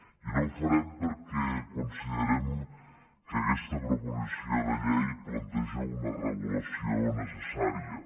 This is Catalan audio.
i no ho farem perquè considerem que aquesta proposició de llei planteja una regulació necessària